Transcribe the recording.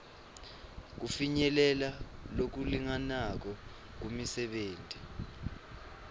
kufinyelela lokulinganako kumisebenti